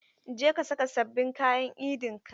Je ka saka sabbin kayan Idin ka!